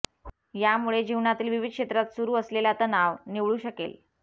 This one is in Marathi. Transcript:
यामुळे जीवनातील विविध क्षेत्रात सुरू असलेला तणाव निवळू शकेल